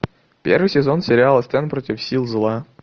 первый сезон сериала стэн против сил зла